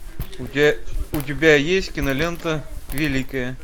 у тебя есть кинолента великая